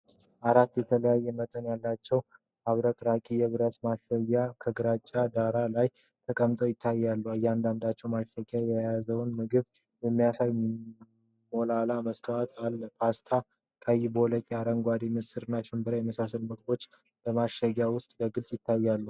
አራት የተለያዩ መጠን ያላቸው አብረቅራቂ የብረት ማሸጊያዎች (Containers) ከግራጫ ዳራ ላይ ተቀምጠው ይታያሉ። እያንዳንዱ ማሸጊያ የያዘውን ምግብ የሚያሳይ ሞላላ መስታወት አለው፤ ፓስታ፣ ቀይ ባቄላ፣ አረንጓዴ ምስር እና ሽምብራ የመሳሰሉት ምግቦች በማሸጊያዎቹ ውስጥ በግልጽ ይታያሉ።